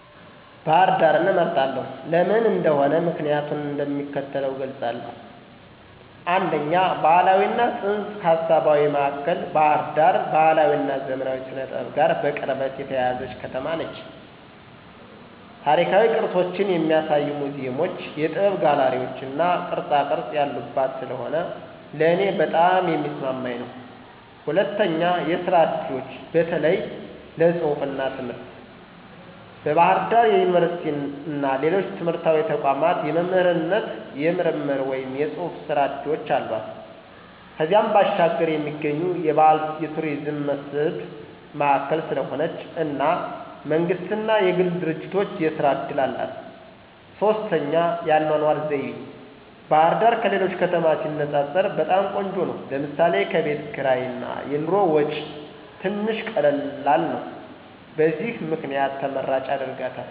ባህር ዳርን እመርጣለሁ። ለምን እንደሆነ ምክንያቲን እንደሚከተለው እገልፃለሁ፦ 1, ባህላዊ እና ፅንሰ-ሀሳባዊ ማእከል ባህር ዳር ባህላዊ እና ዘመናዊ ስነ-ጥበብ ጋር በቅርበት የተያያዘች ከተማ ነች። ታሪካዊ ቅርሶችን የሚያሳዩ ሙዚየሞች፣ የጥበብ ጋለሪዎች እና ቅርፃቅረፅ ያሉባት ስለሆነ ለእኔ በጣም የሚስማማኝ ነው። 2, የስራ እድሎች (በተለይ ለፅሁፍ እና ትምህርት) ፦ በባህር ዳር ዩኒቨርሲቲ እና ሌሎች ትምህርታዊ ተቋማት የመምህርነት፣ የምርምር ወይም የጽሑፍ ሥራ ዕድሎች አሏት። ከዚያም ባሻገር የሚገኙ የባህል የቱሪዝም መስህብ ማእከል ስለሆነች እና መንግስት እና የግል ድርጂቶች የስራ እድል አላት። 3, የአኗኗር ዘይቤ፦ ባህርዳር ከሌሎች ከተማ ሲነፃፀር በጣም ቆንጆ ነው ለምሳሌ፦ ከቤት ክርይ እና የኑሮ ወጪ ትንሽ ቀላል ነው። በዚህ ምክንያት ተመራጭ ያደርጋታል።